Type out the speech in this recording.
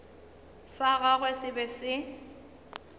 sa gagwe se be se